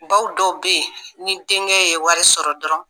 Baw dɔw bɛ yen, ni denkɛ ye wari sɔrɔ dɔrɔn.